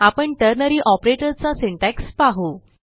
आपण ternary operator चा syntax पाहू